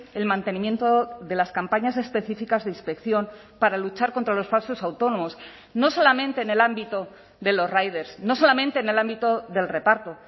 el mantenimiento de las campañas específicas de inspección para luchar contra los falsos autónomos no solamente en el ámbito de los riders no solamente en el ámbito del reparto